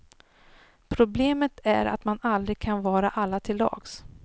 Problemet är att man aldrig kan vara alla till lags.